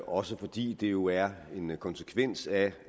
også fordi det jo er en konsekvens af